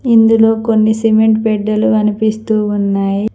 ఇందులో కొన్ని సిమెంట్ బెడ్డలు గనిపిస్తూ ఉన్నాయి.